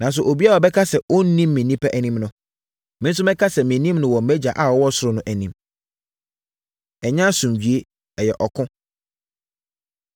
Nanso, obiara a ɔbɛka sɛ ɔnnim me nnipa anim no, me nso mɛka sɛ mennim no wɔ mʼagya a ɔwɔ ɔsoro no anim. Ɛnyɛ Asomdwoeɛ, Ɛyɛ Ɔko